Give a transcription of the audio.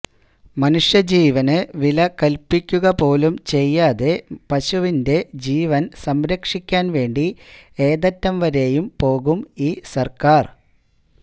മനുഷ്യ ജീവന് വില കല്പ്പിക്കുകപോലും ചെയ്യാതെ പശുവിന്റെ ജീവന് സംരക്ഷിക്കാന് വേണ്ടി ഏതറ്റം വരെയും പോകും ഈ സര്ക്കാര്